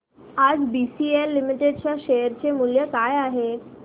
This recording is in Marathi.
आज बीसीएल लिमिटेड च्या शेअर चे मूल्य काय आहे